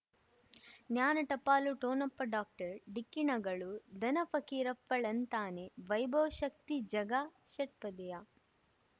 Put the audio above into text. ಜ್ಞಾನ ಟಪಾಲು ಠೊಣಪ ಡಾಕ್ಟರ್ ಢಿಕ್ಕಿ ಣಗಳು ಧನ ಫಕೀರಪ್ಪ ಳಂತಾನೆ ವೈಭವ್ ಶಕ್ತಿ ಝಗಾ ಷಟ್ಪದಿಯ